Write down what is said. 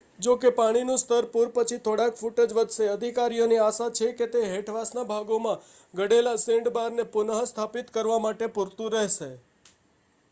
જો કે પાણીનું સ્તર પૂર પછી થોડાક ફૂટ જ વધશે અધિકારીઓને આશા છે કે તે હેઠવાસના ભાગોમાં ઘટેલા સેન્ડબારને પુનઃસ્થાપિત કરવા માટે પૂરતું હશે